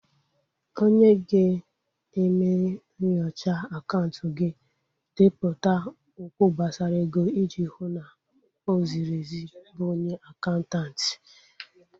Onye ga-eme nyochaa akaụntụ gị, depụta okwụ gbasara ego iji hụ na o ziri ezi bụ onye akaụntanti